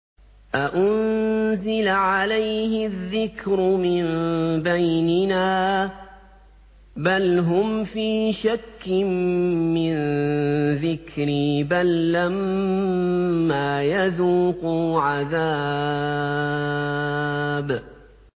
أَأُنزِلَ عَلَيْهِ الذِّكْرُ مِن بَيْنِنَا ۚ بَلْ هُمْ فِي شَكٍّ مِّن ذِكْرِي ۖ بَل لَّمَّا يَذُوقُوا عَذَابِ